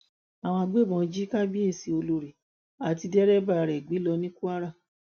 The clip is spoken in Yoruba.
àwọn agbébọn jí kábíyèsí olórí àti dẹrẹbà rẹ gbé lọ ní kwara